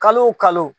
Kalo o kalo